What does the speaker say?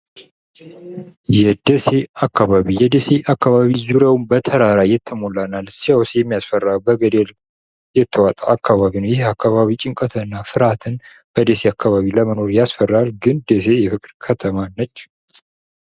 የደሴ አካባቢ ዙሪያውን በተራራ የተሞላና ሲያዩት የሚያስፈራ በገደል የተዋጠ አካባቢ ነው። ይህ የአካባቢ ጭንቀትና ፍርሃት በደሴ አካባቢ ለመኖር ያስፈራል፤ ግን ደሴ የፍቅር ከተማ ነች።